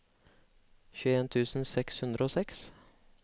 tjueen tusen seks hundre og seks